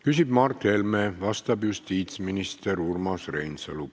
Küsib Mart Helme, vastab justiitsminister Urmas Reinsalu.